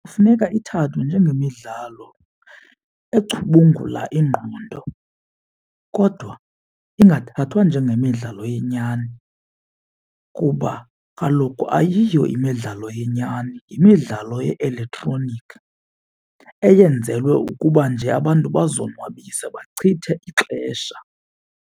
Kufuneka ithathwe njengemidlalo ecubungula ingqondo kodwa ingathathwa njengemidlalo yenyani kuba kaloku ayiyo imidlalo yenyani yimidlalo ye-elektroniki eyenzelwe ukuba nje abantu bazonwabise bachithe ixesha.